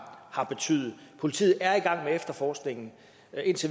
har betydet politiet er i gang med efterforskningen indtil